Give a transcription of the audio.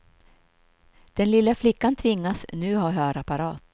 Den lilla flickan tvingas nu ha hörapparat.